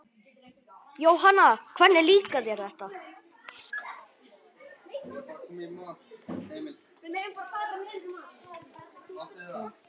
Jóhanna: Hvernig líkar þér þetta?